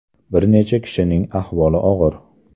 Bir necha kishining ahvoli og‘ir.